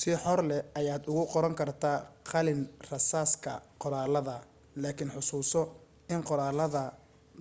si xor leh ayaad ugu qoran kartaa qalin rasaaska qoraaladaada laakin xusuuso in qoraalada